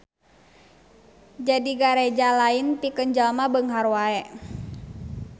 Jadi Gareja lain pikeun jalma beunghar wae.